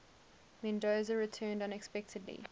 mendoza returned unexpectedly